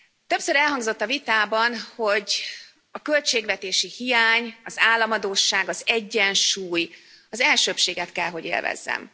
Többször elhangzott a vitában, hogy a költségvetési hiány, az államadósság, az egyensúly elsőbbséget kell hogy élvezzen.